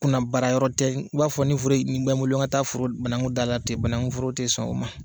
Kunna baara yɔrɔ tɛ , i b'a fɔ ni furu nin bɛ n bolo na n ka taa banakun dan a la ten banaunforo tɛ sɔn u ma.